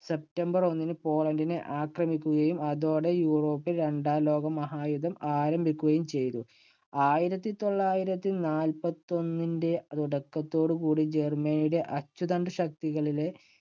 september ഒന്നിന് പോളണ്ടിനെ ആക്രമിക്കുകയും അതോടെ യൂറോപ്പിൽ രണ്ടാം ലോക മഹായുദ്ധം ആരംഭിക്കുകയും ചെയ്തു. ആയിരത്തി തൊള്ളായിരത്തി നാപ്പത്തിയൊന്നിന്‍റെ തുടക്കത്തോടുകൂടി ജർമ്മനിയുടെ അച്ചുതണ്ട് ശക്തികളിലെ